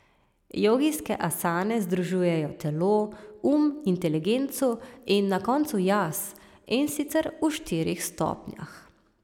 Jogijske asane združujejo telo, um, inteligenco in na koncu jaz, in sicer v štirih stopnjah.